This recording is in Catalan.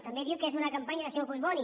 també diu que és una campanya del senyor collboni